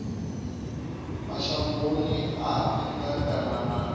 mashangoni a nnḓa kana na